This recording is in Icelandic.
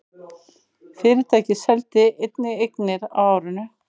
Fyrirtækið seldi einnig eignir á árinu